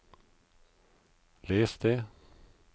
les det